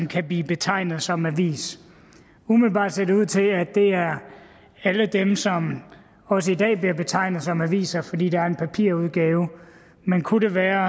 kan blive betegnet som en avis umiddelbart ser det ud til at det er alle dem som også i dag bliver betegnet som aviser fordi der er en papirudgave men kunne det være